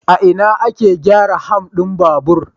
A ina ake gyara ham din babur?